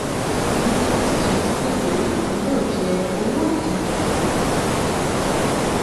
ní twenty twenty three onípindòjé owó òdì